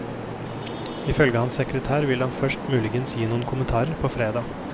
Ifølge hans sekretær vil han først muligens gi noen kommentarer på fredag.